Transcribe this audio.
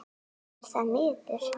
Er það miður.